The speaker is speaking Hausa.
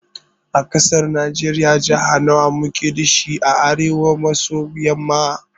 A ƙasar najiriya Jaha nawa muke dashi a arewa maso yamma?